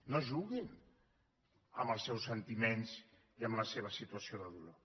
no juguin amb els seus sentiments i amb la seva situació de dolor